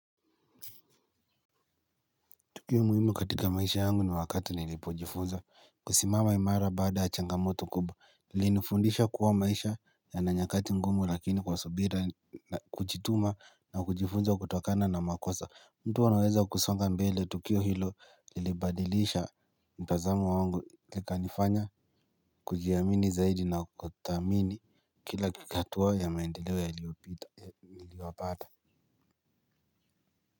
Tukio muhimu katika maisha yangu ni wakati nlipojifunza kusimama imara baada ya changamoto kubwa ilinifundisha kuwa maisha yana nyakati ngumu lakini kwa subira na kujituma na kujifunza kutokana na makosa. Mtu anaweza kusonga mbele tukio hilo lilibadilisha mtazamo wangu ikanifanya kujiamini zaidi na kuthamini kila hatua ya maendeleo yaliyopita.